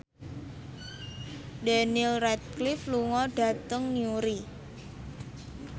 Daniel Radcliffe lunga dhateng Newry